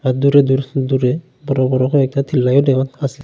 দূরে দূর দূরে বড় বড় করে আছে।